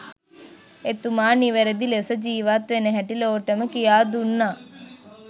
එතුමා නිවැරදි ලෙස ජීවත් වෙන හැටි ලොවටම කියා දුන්නා